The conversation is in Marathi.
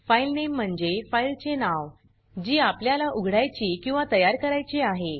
फाइलनेम म्हणजे फाइल चे नाव जी आपल्याला उघडायची किंवा तयार करायची आहे